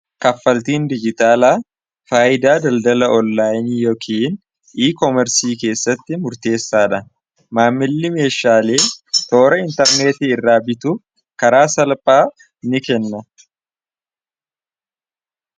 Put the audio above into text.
kaffaltiin dijitaalaa faayidaa daldala ollaayini yookin i- koomersii keessatti murteessaadha maammilli meeshaalee toora intarneetii irraa bituu karaa salphaa ni kenna